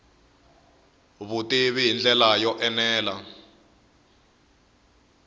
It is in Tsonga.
vutivi hi ndlela yo enela